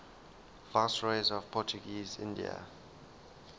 viceroys of portuguese india